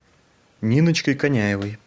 ниночкой коняевой